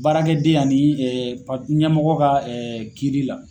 Baarakɛ den ani pa ɲɛmɔgɔ ka kiiri la.